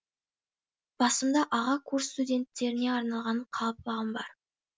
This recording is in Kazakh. басымда аға курс студенттеріне арналған қалпағым бар